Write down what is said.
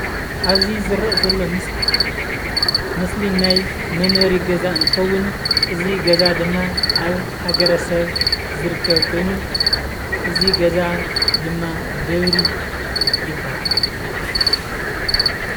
ኣብ እዚ ዝረአ ዘሎ ምስሊ ምስሊ ናይ መንበሪ ገዛ እዚ ገዛ ድማ ኣብ ሃገረሰብ ዝርከብ ኮይኑ እዚ ገዛ ድማ ደብሪ ይባሃል፡፡